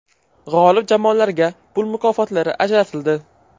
G‘olib jamoalarga pul mukofotlari ajratildi.